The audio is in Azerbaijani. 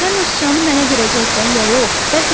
Sən o sıçanı mənə verəcəksən ya yox?